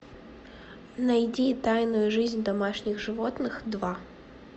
найди тайную жизнь домашних животных два